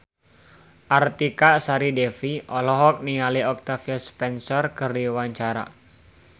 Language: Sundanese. Artika Sari Devi olohok ningali Octavia Spencer keur diwawancara